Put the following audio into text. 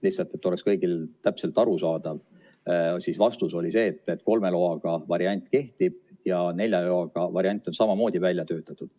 Et oleks kõigil täpselt aru saada, siis vastus oli see, et kolme loaga variant kehtib ja nelja loaga variant on samamoodi välja töötatud.